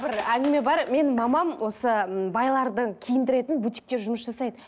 бір әңгіме бар менің мамам осы м байларды киіндіретін бутикте жұмыс жасайды